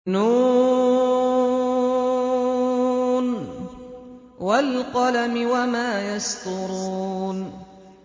ن ۚ وَالْقَلَمِ وَمَا يَسْطُرُونَ